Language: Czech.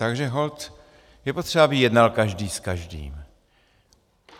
Takže holt je potřeba, aby jednal každý s každým.